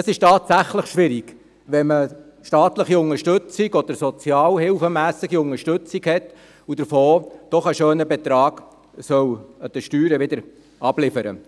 Es ist tatsächlich schwierig, wenn man staatliche Unterstützung oder sozialhilfetechnische Unterstützung erhält und davon einen grossen Betrag über die Steuern wieder abliefern